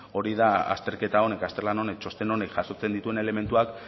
hori da azterketa honek azterlan honek txosten honek jasotzen dituen elementuak